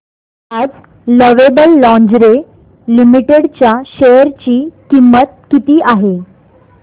आज lovable lingerie limited च्या share ची किंमत किती आहे